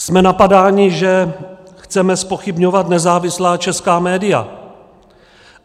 Jsme napadáni, že chceme zpochybňovat nezávislá česká média.